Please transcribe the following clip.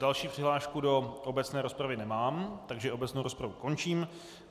Další přihlášku do obecné rozpravy nemám, takže obecnou rozpravu končím.